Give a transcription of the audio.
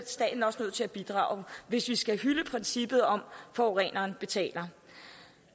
staten også nødt til at bidrage hvis vi skal hylde princippet om at forureneren betaler